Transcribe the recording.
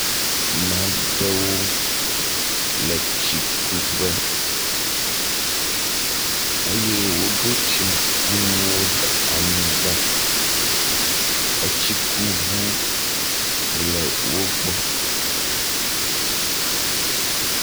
Maɖewo le tsikuƒe eye woɖo tsikunuwo ɖe anyigba. Etsikuŋu le wo gbɔ.